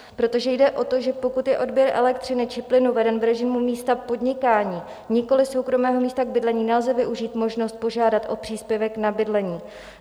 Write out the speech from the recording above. Protože jde o to, že pokud je odběr elektřiny či plynu veden v režimu místa podnikání, nikoli soukromého místa k bydlení, nelze využít možnost požádat o příspěvek na bydlení.